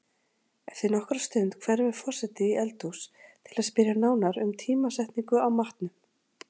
Eftir nokkra stund hverfur forseti í eldhús til að spyrja nánar um tímasetningu á matnum.